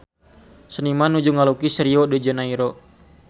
Seniman nuju ngalukis Rio de Janairo